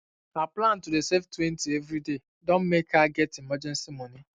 her plan to dey savetwentyeveryday don um make her um get emergency money